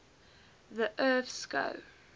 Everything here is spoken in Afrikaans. the earth skou